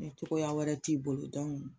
Ni tɔgɔya wɛrɛ t'i bolo dɔnku